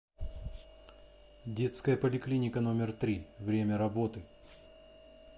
детская поликлиника номер три время работы